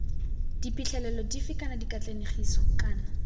diphitlhelelo dife kana dikatlanegiso kana